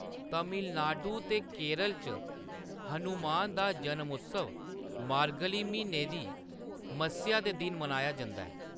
तमिलनाडु ते केरल च, हनुमान दा जनम-उत्सव मार्गली म्हीने दी मस्सेआ दे दिन मनाया जंदा ऐ।